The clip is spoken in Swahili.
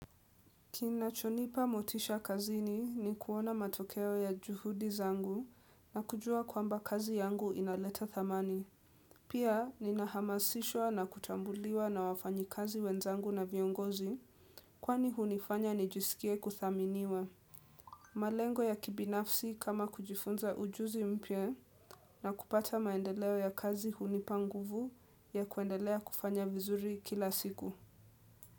Kinachonipa motisha kazini ni kuona matokeo ya juhudi zangu na kujua kwamba kazi yangu inaleta thamani. Pia, ninahamasishwa na kutambuliwa na wafanyikazi wenzangu na viongozi kwani hunifanya nijisikie kuthaminiwa. Malengo ya kibinafsi kama kujifunza ujuzi mpye na kupata maendeleo ya kazi hunipanguvu ya kuendelea kufanya vizuri kila siku.